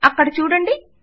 అక్కడ చూడండి